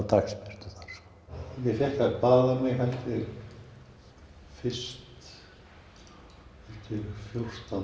dagsbirtu þar ég fékk að baða mig fyrst fjórtán